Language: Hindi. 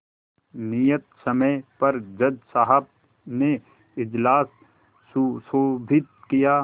नियत समय पर जज साहब ने इजलास सुशोभित किया